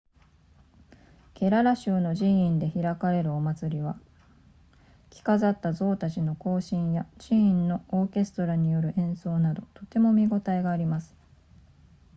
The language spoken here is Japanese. ケララ州の寺院で開かれるお祭りは着飾った象たちの行進や寺院のオーケストラによる演奏などとても見応えがあります